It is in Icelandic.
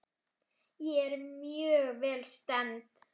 Ég er mjög vel stemmd.